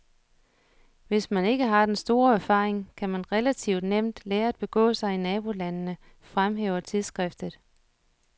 Hvis man ikke har den store erfaring, kan man relativt nemt lære at begå sig i nabolandene, fremhæver tidsskriftet.